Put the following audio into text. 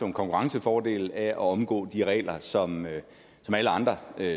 en konkurrencefordel af at omgå de regler som alle andre